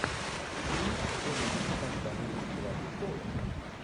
фильм джона ву с названием игра престолов